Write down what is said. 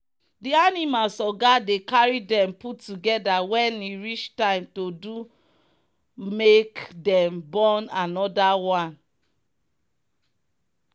the animals oga dey carry them put together when e reach time to do make them born another one.